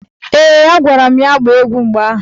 Ee, agwara m ya gbaa egwu mgbe ahụ.